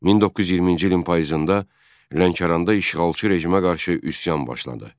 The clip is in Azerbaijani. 1920-ci ilin payızında Lənkəranda işğalçı rejimə qarşı üsyan başladı.